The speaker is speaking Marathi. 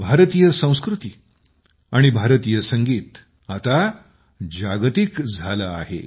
भारतीय संस्कृती आणि भारतीय संगीत आता जागतिक बनले आहे